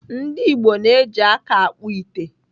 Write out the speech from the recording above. Ndigbo na-eji aka akpụ ite.